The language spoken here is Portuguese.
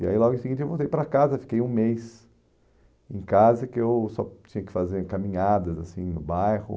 E aí logo em seguida eu voltei para casa, fiquei um mês em casa, que eu só tinha que fazer caminhadas, assim, no bairro.